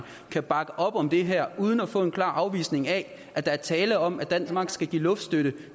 kan bakke op om det her uden at få en klar afvisning af at der er tale om at danmark skal give luftstøtte